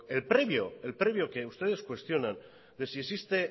el previo que ustedes cuestionan de si existe